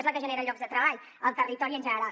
és la que genera llocs de treball al territori en general